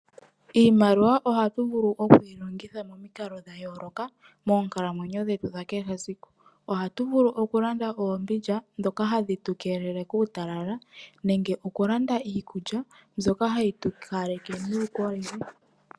Iimaliwa ohatu vulu okuyi longitha momikalo dhayoloka moonkalamwenyo dhetu dhakehe esiku. Ohatu vulu oku landa oombindja dhoka hadhi tu keelele kuutalala nenge oku landa iikulya mbyoka hayi tu kaleke nuukolele.